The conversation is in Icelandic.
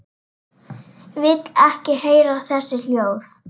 Vil ekki heyra þessi hljóð.